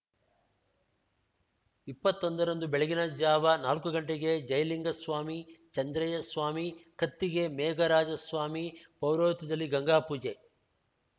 ಇಪ್ಪತ್ತೊಂದ ರಂದು ಬೆಳಗಿನ ಝಾವ ನಾಲ್ಕು ಗಂಟೆಗೆ ಜಯಲಿಂಗಸ್ವಾಮಿ ಚಂದ್ರಯ್ಯಸ್ವಾಮಿ ಕತ್ತಿಗೆ ಮೇಘರಾಜಸ್ವಾಮಿ ಪೌರೋಹಿತ್ಯದಲ್ಲಿ ಗಂಗಾಪೂಜೆ